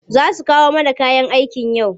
Za su kawo mana kayan aikin yau?